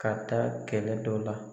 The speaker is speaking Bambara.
Ka taa kɛlɛ dɔ la